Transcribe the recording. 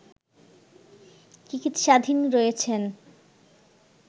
চিকিৎসাধীন রয়েছেন